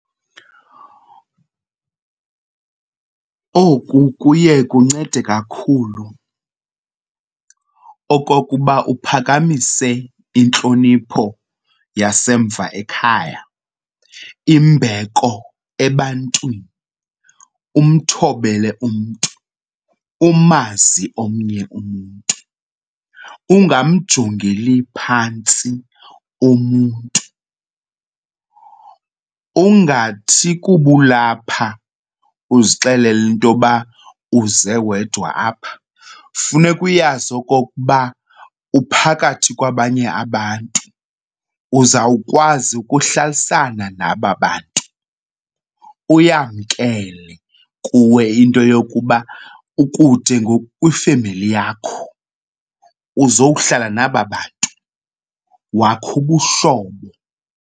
Oku kuye kuncede kakhulu okokuba uphakamise intlonipho yasemva ekhaya, imbeko ebantwini. Umthobele umntu, umazi omnye umntu ungamjongeli phantsi umntu. Ungathi kuba ulapha uzixelele into yoba uze wedwa apha, funeka uyazi okokuba uphakathi kwabanye abantu, uzawukwazi ukuhlalisana naba bantu. Uyamkele kuwe into yokuba ukude ngoku kwifemeli yakho, uzokuhlala naba bantu wakhe ubuhlobo.